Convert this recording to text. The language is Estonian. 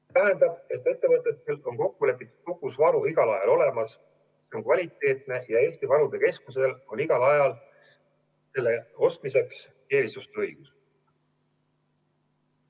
See tähendab, et ettevõtetel on kokkulepitud kogus varu igal ajal olemas, see on kvaliteetne ja Eesti Varude Keskusel on igal ajal selle ostmiseks eelisostuõigus.